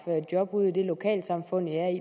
job ude i det lokalsamfund de er i